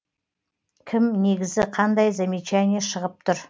кім негізі қандай замечание шығып тұр